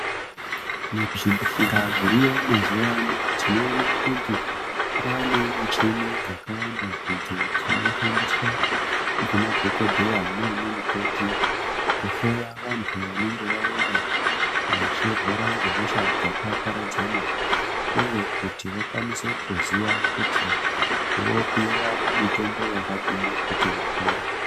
Muzvibhedhleya dziriyo mazuva ano tinoona kuti kwane muchini dzakawanda idzo dzinoshandiswa ngemadhokoteya nanamukoti kuhloya vandu vanenge vauya kuti vachirwara ngehosha dzakaparadzana uye kuti vakwanise kuziva kuti vopiwa mutombo yakadii kuti vapore.